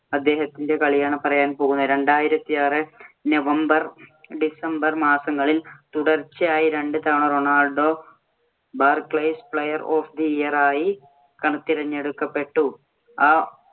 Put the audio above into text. അദ്ദേഹത്തിന്‍റെ കളിയാണ്‌ പറയാന്‍ പോകുന്നത്. രണ്ടായിരത്തി ആറ് November, December മാസങ്ങളില്‍ തുടർച്ചയായി രണ്ട് തവണ Ronaldo Barclays Player of the Month ആയി തിരഞ്ഞെടുക്കപ്പെട്ടു. ആ